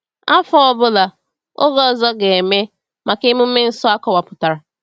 Afọ ọ bụla, oge ọzọ ga-eme maka emume nsọ akọwapụtara.